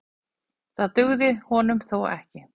Það dugði honum þó ekki.